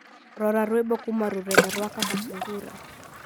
rora rwimbo kuma rurenda rwa kaka sungura